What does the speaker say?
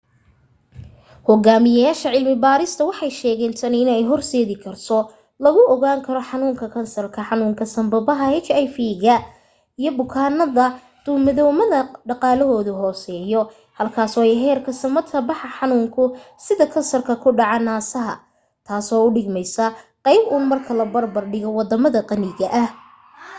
hogaamiyaasha cilmi barista waxay sheegen tani in ay hor seedi karto lagu ogaan karo xanuunka kansarka xanuunka sanbabada hiv ga iyo bukaanada duumadawadama dhaqaalahooda hooseya halkaas oo ay heerka samata baxa xanuunada sida kansarka ku dhaca nasaha taaso u dhigmeysa qeyb un marka loo barbar dhigo wadamada qaniga ah